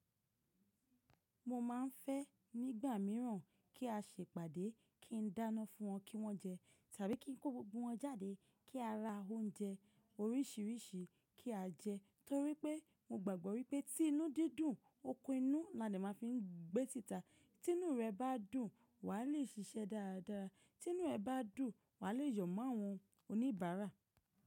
Mo máa ń fẹ́ nígbà mìíràn kí a ṣe ìpàdé kí ń dáná fún wọn kí wọ́n jẹ tàbí kí ń kó gbogbo wọn jáde kí a ra oúnjẹ oríṣiríṣi kí a jẹ. Torí pe mo gbàgbọ́ wípé tí inú dí dùn, okun inú la a dè máa fi ń gbé tìtà. Tí inú rẹ bá dùn wà á lè ṣiṣẹ́ dáadáa. Tí inú ẹ bá dùn wà á lè yọ̀ mọ́ àwọn oníbàárà.